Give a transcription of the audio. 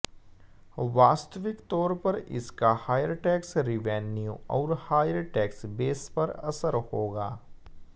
वास्तविक तौर पर इसका हायर टैक्स रिवैन्यू और हायर टैक्स बेस पर असर होगा